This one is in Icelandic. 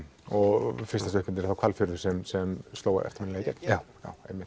og fyrsta stuttmyndin er þá Hvalfjörður sem sem sló eftirminnilega í gegn já einmitt